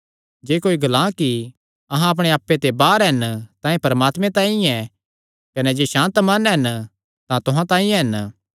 जे कोई ग्लां कि अहां अपणे आप्पे ते बाहर हन तां एह़ परमात्मे तांई ऐ कने जे सांत मन हन तां तुहां तांई हन